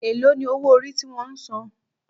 Èló ni owó orí ti wón san?